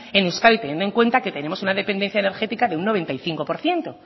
en euskadi teniendo en cuenta que tenemos una dependencia enérgica de un noventa y cinco por ciento